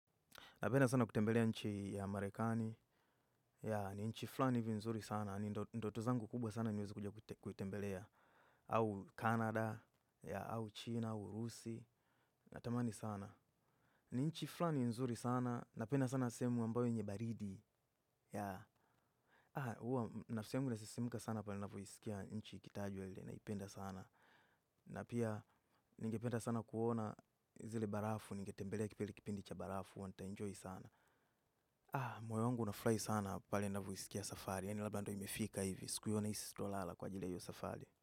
Napenda sana kutembelea nchi ya Amerikani. Ya, ni nchi flani hivi nzuri sana. Ndoto zangu kubwa sana niweze kuja kuitembelea. Au Canada, ya, au China, au Rusi. Na tamani sana. Ni nchi flani nzuri sana. Na penda sana sehemu ambayo yenye baridi. Ya, ah, huwa na sehemu nasisimuka sana pale napoisikia nchi ikitajwa ile na ipenda sana. Na pia, ningependa sana kuona zile barafu, ningetembelea kipeli kipindi cha barafu, nita enjoy sana. Moyo wangu unafurahi sana pale ninapoisikia safari. Yani labda ndo imefika hivi. Siku hiyo nahisi sitolala kwa ajili ya hiyo safari.